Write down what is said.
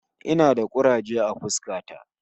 Ina da kuraje a fuska ta